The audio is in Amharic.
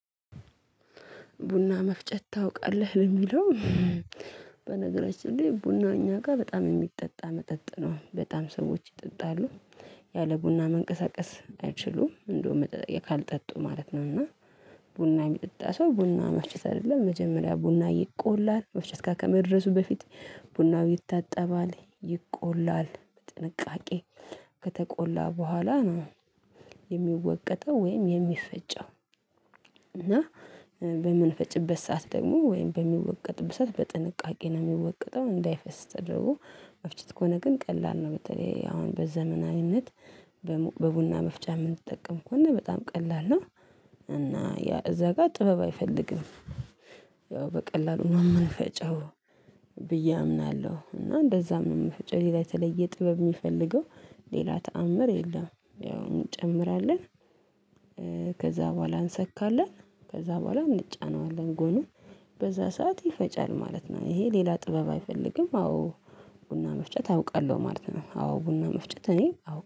ቡና መፍጨት ታውቃለህ የሚለው። በነገራችን ላይ ቡና እኛ ጋር በጣም የሚጠጣ መጠጥ ነው በጣም ሰዎች ይጠጣሉ። ያለ ቡና መንቀሳቀስ አይችሉም እንደውም ካልጠጡ ማለት ነው። እና ቡና የሚጠጣ ሰው ቡና መፍጨት አይደለም መጀመሪያ ቡና ይቆላል መፍጨት ጋር ከመድረሱ በፊት ቡናው ይታጠባል ይቆላል በጥንቃቄ ከተቆላ በኋላ ነው የሚወቀጠው ወይም የሚፈጨው። እና በምንፈጭበት ሰዓት ደግሞ ወይም በሚወቀጥበት ሰዓት በጥንቃቄ ነው የሚወቀጠው እንዳይፈስ ተደርጎ መፍጨት ከሆነ ግን ቀላል ነው። በተለይ አሁን በዘመናዊነት በቡና መፍጫ የምንጠቀም ከሆነ በጣም ቀላል ነው። እና ያ እዛ ጋር ጥበብ አይፈልግም። ያው በቀላሉ ነው የምንፈጨው ብዬ አምናለሁ። እና እንደዛ መንፈጨው ሌላ የተለየ ጥበብ የሚፈልገው ሌላ ተአምር የለም። ያው እንጨምራለን። ከዛ በኋላ እንሰካለን ከዛ በኋላ እንጫነዋለን ጎኑ በዛ ሰዓት ይፈጫል ማለት ነው። ይሄ ሌላ ጥበብ አይፈልግም። አዎ ቡና መፍጨት አውቃለሁ ማለት ነው። አዎ ቡና መፍጨት እኔ አውቃለሁ